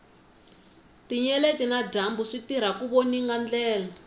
tinyeleti na dyambu switirha ku voninga ndlela